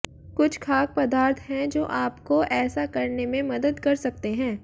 कुछ खाद्य पदार्थ हैं जो आपको ऐसा करने में मदद कर सकते हैं